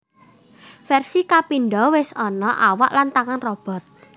Versi kapindo wis ana awak lan tangan robot